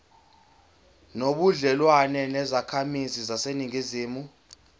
nobudlelwane nezakhamizi zaseningizimu